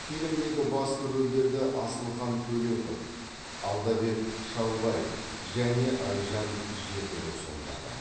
фильмдегі басты рөлдерді асылхан төлепов алдабек шалбаев және айжан жетіру сомдады